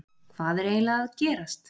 Hvað er eiginlega að gerast?